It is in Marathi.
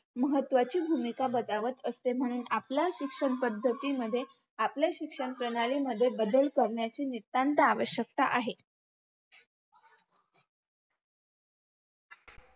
महत्वाची भूमिका बजावत असते म्हणे आपला शिक्षणपद्धतीमध्ये आपल्या शिक्षणप्रणालीमध्ये बदल करण्याची नितांत आवश्यकता आहे